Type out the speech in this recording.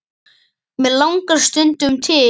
mig langar stundum til.